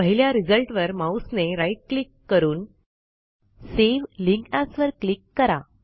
पहिल्या रिझल्टवर माऊसने राईट क्लिक करुन सावे लिंक एएस वर क्लिक करा